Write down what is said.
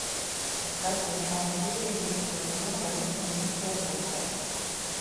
искать восьмая серия одиннадцатого сезона больница никербокер